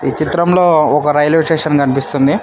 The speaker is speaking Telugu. ఈ చిత్రంలో ఒక రైల్వే స్టేషన్ కనిపిస్తుంది.